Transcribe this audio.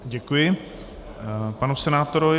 Děkuji panu senátorovi.